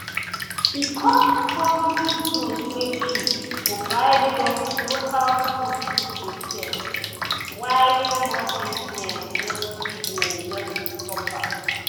because foreign good dey cheap to buy local goods no dey sell why small business just business just dey suffer.